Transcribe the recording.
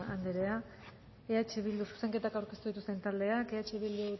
arana anderea zuzenketak aurkeztu dituzten taldeak eh bildu